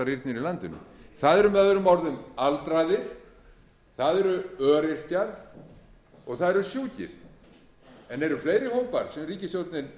í landinu það eru möo aldraðir það eru öryrkjar og það eru sjúkir eru fleiri hópar sem ríkisstjórnin